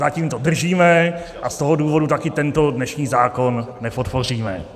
Zatím to držíme a z toho důvodu také tento dnešní zákon nepodpoříme.